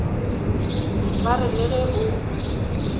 ba re le ge o